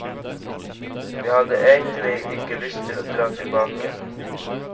Vi hadde egentlig ikke lyst til å dra tilbake.